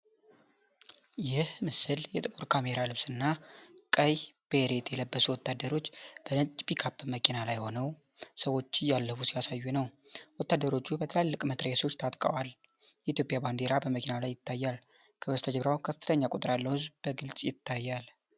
ይህ ምስል የጥቁር ካሜራ ልብስና ቀይ ቤሬት የለበሱ ወታደሮች በነጭ ፒክአፕ መኪና ላይ ሆነው ሰዎችን እያለፉ ሲያሳዩ ነው። ወታደሮቹ በትላልቅ መትረየሶች ታጥቀዋል፤ የኢትዮጵያ ባንዲራ በመኪናው ላይ ይታያል፤ ከበስተጀርባው ከፍተኛ ቁጥር ያለው ህዝብ በግልጽ ይታያል